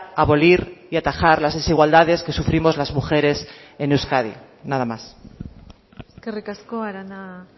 abolir y atajar las desigualdades que sufrimos las mujeres en euskadi nada más eskerrik asko arana